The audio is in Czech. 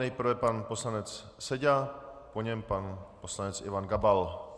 Nejprve pan poslanec Seďa, po něm pan poslanec Ivan Gabal.